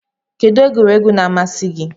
Kedu egwuregwu na amasi gi?